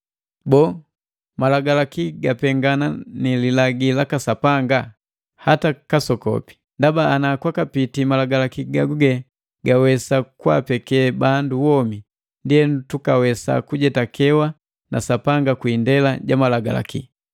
Boo, malagalaki gapengana ni lilagi laka Sapanga? Hata kasokopi! Ndaba ana kwakapitii malagalaki gaguge gagawesa kwaapeke bandu womi, ndienu tukawesa kujetakewa na Sapanga kwi indela ja Malagalaki.